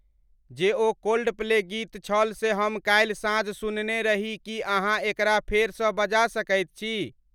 जे ओ कोल्डप्ले गीत छल जे हम काल्हि साँझ सुनने रही की अहाँ एकरा फेर स बजा सकइत छी?